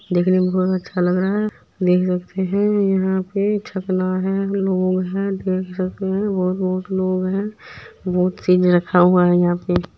देखने में बहुत अच्छा लग रहा है देख सकते हैं यहाँ पे झगना है लोग हैं देख सकते हैं और बहोत लोग हैं बहुत चीज़े रखा हुआ है यहां पे।